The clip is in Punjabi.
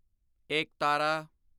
ਏਕਤਾਰਾ